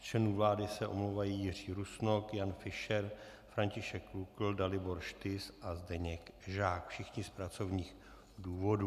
Z členů vlády se omlouvají Jiří Rusnok, Jan Fischer, František Lukl, Dalibor Štys a Zdeněk Žák, všichni z pracovních důvodů.